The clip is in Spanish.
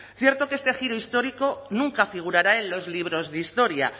cierto que este giro histórico nunca figurará en los libros de historia